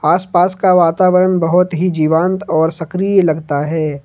आसपास का वातावरण बहुत ही जीवान्त और सक्रिय लगता है।